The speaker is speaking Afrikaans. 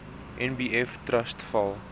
nbf trust val